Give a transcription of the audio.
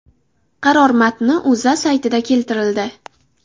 Qaror matni O‘zA saytida keltirildi .